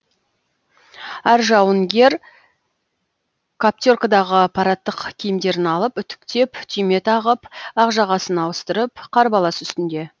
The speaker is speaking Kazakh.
әр жауынгер каптеркадағы парадтық киімдерін алып үтіктеп түйме тағып ақ жағасын ауыстырып қарбалас үстінде